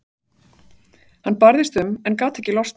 Hann barðist um en gat ekki losnað.